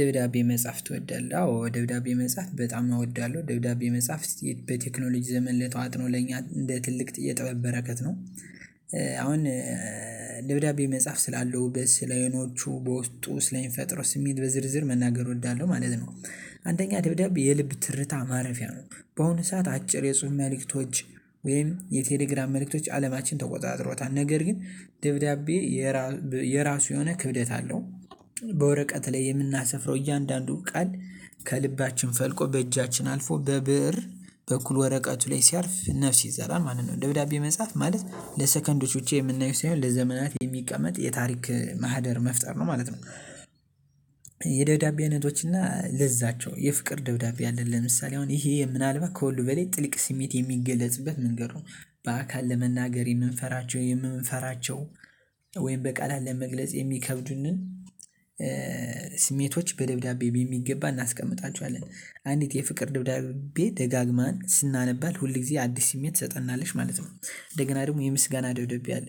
ደብዳቤ መጻፍ ትወዳለህ? አዎ ደብዳቤ መጻፍ በጣም እወዳለሁ ደብዳቤ መጻፍ በቴክኖሎጂ ዘመን ለተዋጥኖ ለኛ እንደ ትልቅ የጥበብ በረከት ነው። አሁን ደብዳቤ መጻፍ ስላለውበት በስ በስለየኖቹ በውስጡ ስለኝ ፈጥሮ ስሜት በዝርዝር መናገር እወዳለሁ ማለት ነው። አንደኛ ደብዳቤ የልብ ትርታ ማረፊያ ነው በአሁኑ ሰዓት አጭር የጽሁፍ መልእክቶች ወይም የቴሌግራም መልእክቶች አለማችን ተወዛዝሮታል ነገር ግን ደብዳቤ የራሱ የሆነ ክብደት አለው። በወረቀት ላይ የምናስፍረው እያንዳንዱ ቃል ከልባችን ፈልቆ በእጃችን አልፎ በብእር በኩል ወረቀቱ ላይ ሲያልፍ ነፍስ ይዘራል ማለት ነው። ደብዳቤ መጽሐፍ ማለት ለሰከንዶች ብቻ የምናየው ሳይሆን ለዘመናት የሚቀመጥ የታሪክ ማህደር መፍጠር ነው ማለት ነው። የደብዳቤነቶች እና ለዛቸው የፍቅር ደብዳቤ አለን ለምሳሌ አሁን ይሄ የምናልባ ከሁሉ በላይ ጥልቅ ስሜት የሚገለጽበት መንገድ ነው። በአካል ለመናገር የምንፈራቸው የምንፈራቸው ወይም በቃላት ለመግለጽ የሚከብዱንን። ስሜቶች በደብዳቤ በምገባ እናስቀምጣቸዋለን አንዲት የፍቅር ደብዳቤ ደጋግማን ስናነባል ሁል ጊዜ አዲስ ስሜት ትሰጠናለሽ ማለት ነው። እንደገና ደግሞ የምስጋና ደብዳቤ አለ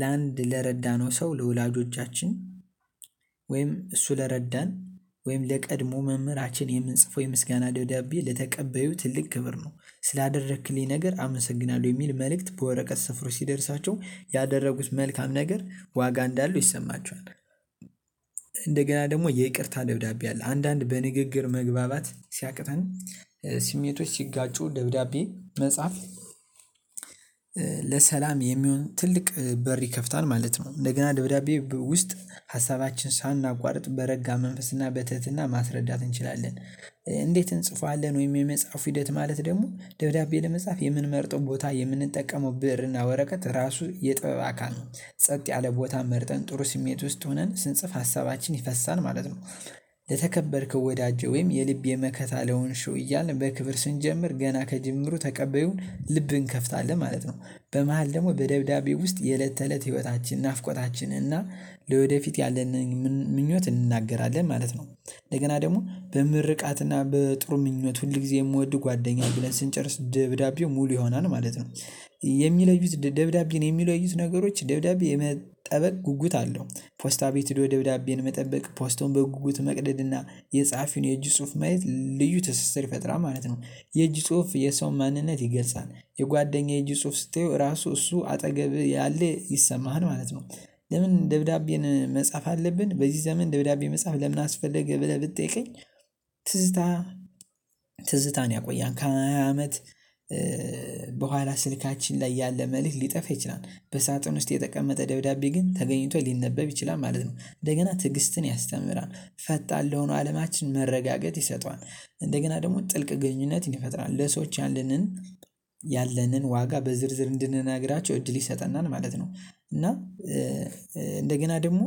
ለአንድ ለረዳነው ሰው ለወላጆቻችን ወይም እሱ ለረዳን ወይም ለቀድሞ መምህራችን የምንጽፈው የምስጋና ደብዳቤ ለተቀበዩ ትልቅ ክብር ነው። ስላደረክልኝ ነገር አመሰግናለሁ የሚል መልእክት በወረቀት ስፍሮ ሲደርሳቸው ያደረጉት መልካም ነገር ዋጋ እንዳሉ ይሰማችኋል። እንደገና ደግሞ የይቅርታ ደብዳቤ አለ አንዳንድ በንግግር መግባባት ሲያቅተን ስሜቶች ሲጋጩ ደብዳቤ መጽሐፍ። ለሰላም የሚሆን ትልቅ በር ይከፍታል ማለት ነው እንደገና ደብዳቤ ውስጥ ሀሳባችን ሳናቋርጥ በረጋ መንፈስና በትህትና ማስረዳት እንችላለን። እንዴት እንጽፈዋለን ወይም የመጽሐፉ ሂደት ማለት ደግሞ ደብዳቤ ለመጻፍ የምንመርጠው ቦታ የምንጠቀመው ብርና ወረቀት ራሱ የጥበብ አካል ጸጥ ያለ ቦታ መርጠን ጥሩ ስሜት ውስጥ ሆነን ስንጽፍ ሀሳባችን ይፈሳል ማለት ነው። ለተከበርከው ወዳጄ ወይም የልብ የመከታ ለሆንሽው እያልን በክብር ስንጀምር ገና ከጅምሩ ተቀበዩን ልብን ከፍታለህ ማለት ነው። በመሃል ደግሞ በደብዳቤ ውስጥ የለት ተለት ህይወታችን ናፍቆታችን እና ለወደፊት ያለን ምኞት እንናገራለን ማለት ነው። እንደገና ደግሞ በምርቃትና በጥሩ ምኞት ሁል ጊዜ የምወድ ጓደኛዬን ብለን ስንጨርስ ደብዳቤው ሙሉ ይሆናል ማለት ነው። የሚለዩት ደብዳቤ የሚለዩት ነገሮች ደብዳቤ የመጠበቅ ጉጉት አለው ፖስታ ቤት ሄዶ ደብዳቤን መጠበቅ ፖስቱን በጉጉት መቅደድ። የጸሐፊውን የእጅ ጽሁፍ መሄድ ልዩ ትስስር ፈጥራል ማለት ነው። የእጅ ጽሁፍ የሰው ማንነት ይገሳል የጓደኛዬ ጽሁፍ ስትየው ራሱ እሱ አጠገብህ ያለ ይሰማሃል ማለት ነው። ለምን ደብዳቤን? መጻፍ አለብን በዚህ ዘመን ደብዳቤ መጻፍ ለምን አስፈለገ ብለህ ብትጠይቀኝ? ትዝታ ትዝታን ያቆያል ከሃያ አመት በኋላ ስልካችን ላይ ያለ መልእክት ሊጠፍ ይችላል በሳጥን ውስጥ የተቀመጠ ደብዳቤ ግን ተገኝቶ ሊነበብ ይችላል ማለት ነው። እንደገና ትዕግስትን ያስተምራል ፈጣን ለሆነ አለማችን መረጋገጥ ይሰጠዋል። እንደገና ደግሞ ጥልቅ ግንኙነት ይፈጥራል ለሰዎች ያለንን ያለንን ዋጋ በዝርዝር እንድንነግራቸው እድል ይሰጠናል ማለት ነው። እና እንደገና ደግሞ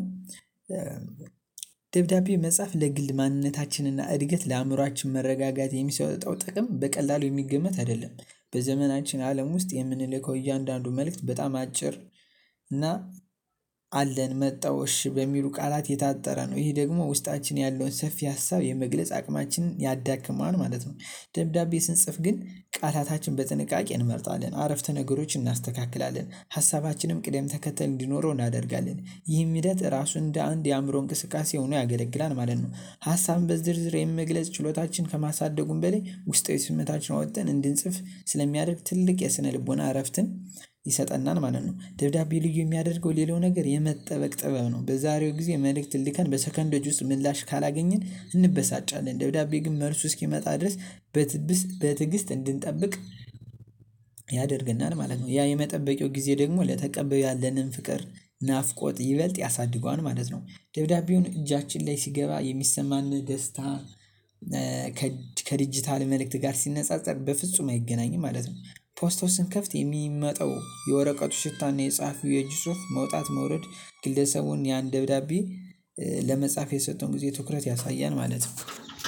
ደብዳቤ መጽሐፍ ለግል ማንነታችንና እድገት ለአእምሮአችን መረጋጋት የሚሰጠው ጥቅም በቀላሉ የሚገመት አይደለም። በዘመናችን አለም ውስጥ የምንልከው እያንዳንዱ መልእክት በጣም አጭር እና አለን መጣው እሺ በሚሉ ቃላት የታጠረ ነው ይሄ ደግሞ ውስጣችን ያለውን ሰፊ ሀሳብ የመግለጽ አቅማችንን ያዳክማል ማለት ነው። ደብዳቤ ስንጽፍ ግን ቃላታችን በጥንቃቄ እንመርጣለን አረፍተ ነገሮች እናስተካክላለን ሀሳባችንም ቅደም ተከተል እንዲኖረው እናደርጋለን ይህን ሂደት ራሱ እንደ አንድ የአእምሮ እንቅስቃሴ ሆኖ ያገለግላል ማለት ነው። ሀሳብን በዝርዝር የምግለጽ ችሎታችን ከማሳደጉም በሌላ ውስጥ ስሜታችን አወጣን እንድንጽፍ ስለሚያደርግ ትልቅ የስነ ልቦና እረፍትን ይሰጠናል ማለት ነው። ደብዳቤ ልጅ የሚያደርገው ሌላው ነገር የመጠበቅ ጥበብ ነው በዛሬው ጊዜ መልእክት ልልካን በሰከንድ ውስጥ ምላሽ ካላገኘን እንበሳጫለን ደብዳቤ ግን መልሱ እስኪመጣ ድረስ በትግስት እንድንጠብቅ ያደርግናል ማለት ነው። ያ የመጠበቂያው ጊዜ ደግሞ ለተቀበለው ያለንን ፍቅር ናፍቆት ይበልጥ ያሳድገዋል ማለት ነው። ደብዳቤውን እጃችን ላይ ሲገባ የሚሰማን ደስታ ከድጅታል መልእክት ጋር ሲነጻጸር በፍጹም አይገናኝም ማለት ነው። ፖስታውን ስንከፍት የሚመጣው የወረቀቱ ሽታና የጸሀፊው የእጅ ጹፍ መውጣት መውረድ ግለሰቡን ያን ደብዳቤ ለመጻፍ የሰጠውን ጊዜ ትኩረት ያሳየን ማለት ነው